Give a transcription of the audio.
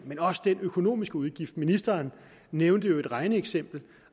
men også den økonomiske udgift ministeren nævnte i øvrigt et regneeksempel